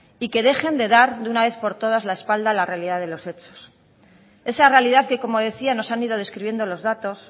y que dejen de dar de una vez por todas la espalda a la realidad de los hechos esa realidad que como decía nos han ido describiendo los datos